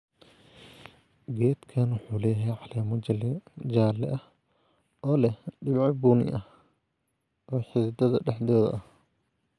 Geedkani wuxuu leeyahay caleemo jaale ah oo leh dhibco bunni ah oo xididdada dhexdooda ah.